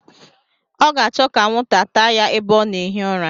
Ọ ga-achọ ka anwụnta taa ya ebe ọ na-ehi ụra.